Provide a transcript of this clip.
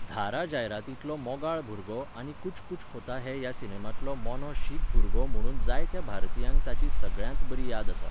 धारा जायरातींतलो मोगाळ भुरगो आनी कुछ कुछ होता है ह्या सिनेमांतलो मोनो शीख भुरगो म्हुणून जायत्या भारतीयांक ताची सगळ्यांत बरी याद आसा.